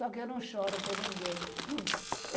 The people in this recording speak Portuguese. Só que eu não choro por ninguém.